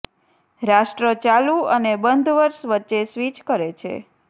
રાષ્ટ્ર ચાલુ અને બંધ વર્ષ વચ્ચે સ્વિચ કરે છે